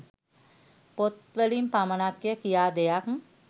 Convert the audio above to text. පොත් වලින් පමණක්ය කියා දෙයක්